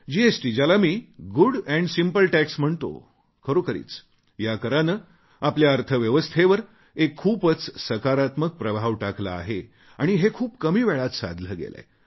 GST ज्याला मी good and simple tax म्हणतो खरोखरीच या कराने आपल्या अर्थव्यवस्थेवर एक खूपच सकारात्मक प्रभाव टाकला आहे आणि हे खूप कमी वेळात साधले गेलेय